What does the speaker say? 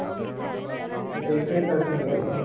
ତ ସେଇଥିପାଇଁ ତା ସାଙ୍ଗରେ ଯାଉଛ ନା?